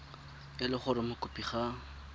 e le gore mokopi ga